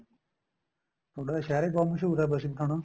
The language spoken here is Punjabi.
ਤੁਹਾਡਾ ਸ਼ਹਿਰ ਹੀ ਬਹੁਤ ਮਸਹੂਰ ਏ ਬਸੀ ਪਠਾਣਾ